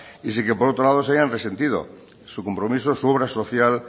y sin que por otro lado se hayan resentido su compromiso su obra social